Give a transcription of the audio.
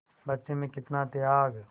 बच्चे में कितना त्याग